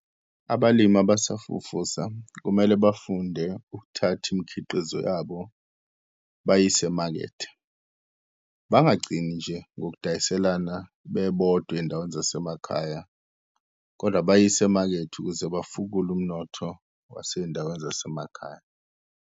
Abalimi abasafufusa kumele bafunde ukuthatha imikhiqizo yabo bayise emakethe, bangagcini nje ngokudayiselana bebodwa ey'ndaweni zasemakhaya, kodwa bayise emakethe ukuze bafukule umnotho wasey'ndaweni zasemakhaya.